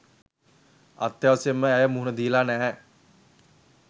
අත්‍යවශ්‍යයෙන්ම ඇය මුහුණ දීලා නෑ.